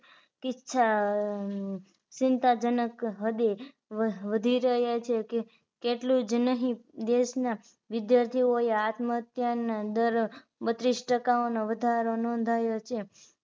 કિ છા ચીન્તાજનક હદે વધી રહ્યા છે કે તેટલુજ નહિ દેશ ના વિદ્યાર્થીઓએ આત્મ હત્યા ના દર માં બત્રીસ ટકા નો વધારો નોધાયો છે